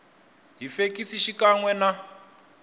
hi fekisi xikan we na